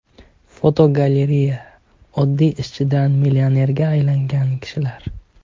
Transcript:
Fotogalereya: Oddiy ishchidan millionerga aylangan kishilar.